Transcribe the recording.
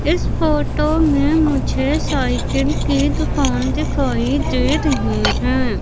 इस फोटो में मुझे साइकिल की दुकान दिखाई दे रही है।